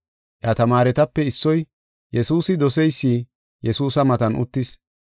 Iya tamaaretape issoy, Yesuusi doseysi, Yesuusa matan uttis.